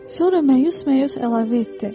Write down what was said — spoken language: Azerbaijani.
Sonra məyus-məyus əlavə etdi.